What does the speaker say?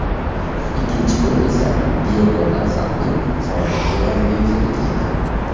Ikkinchi gol esa Diyego Laksaltning faolligi evaziga yuzaga keldi.